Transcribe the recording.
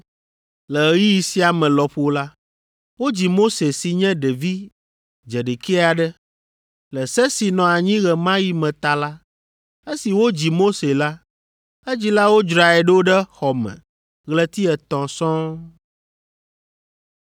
“Le ɣeyiɣi sia me lɔƒo la, wodzi Mose si nye ɖevi dzeɖekɛ aɖe. Le se si nɔ anyi ɣe ma ɣi me ta la, esi wodzi Mose la, edzilawo dzrae ɖo ɖe xɔ me ɣleti etɔ̃ sɔŋ.